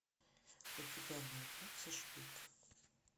у тебя найдется шпик